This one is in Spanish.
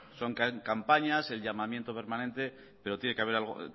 son campañas el llamamiento permanente pero tiene que haber algo